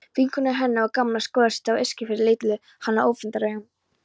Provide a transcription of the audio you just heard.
Vinkonur hennar og gamlar skólasystur á Eskifirði litu hana öfundaraugum.